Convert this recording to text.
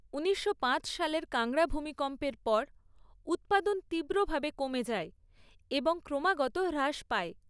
ঊনিশশো পাঁচ সালের কাংড়া ভূমিকম্পের পর উৎপাদন তীব্রভাবে কমে যায় এবং ক্রমাগত হ্রাস পায়।